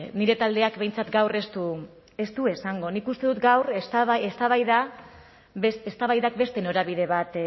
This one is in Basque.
nire taldeak behintzat gaur ez du esango nik uste dut gaur eztabaidak beste norabide bat